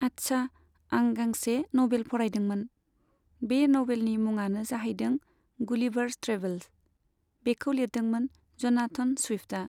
आच्छा, आं गांसे नभेल फरायदोंमोन। बे नभेलनि मुङानो जाहैदों गुलिभार्स ट्रेभेल्स। बेखौ लिरदोंमोन जनाथन स्विफ्टआ।